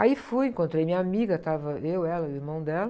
Aí fui, encontrei minha amiga, estava eu, ela e o irmão dela.